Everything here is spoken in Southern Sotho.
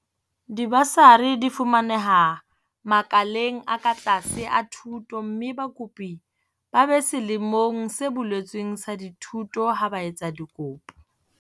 Dibasari di fumaneha makaleng a ka tlase a thuto mme bakopi ba be selemong se boletsweng sa dithuto ha ba etsa dikopo.